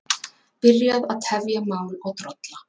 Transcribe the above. Byrja að tefja mál og drolla